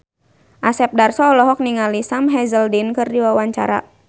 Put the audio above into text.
Asep Darso olohok ningali Sam Hazeldine keur diwawancara